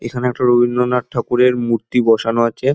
এখানে একটা রবীন্দ্রনাথ ঠাকুরের মূর্তি বসানো আছে।